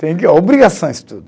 Tem que obrigação o estudo.